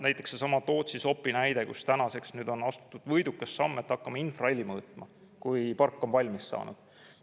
Näiteks seesama Tootsi-Sopi näide, kus tänaseks on astutud võidukas samm, et hakkame infraheli mõõtma, kui park on valmis saanud.